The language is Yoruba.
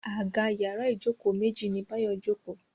Àga yàrá Ijoko méjì ní Bayo joko.